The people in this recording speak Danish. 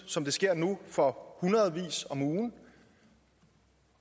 som det sker nu for hundredvis om ugen